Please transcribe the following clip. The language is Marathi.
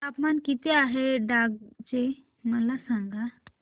तापमान किती आहे डांग चे मला सांगा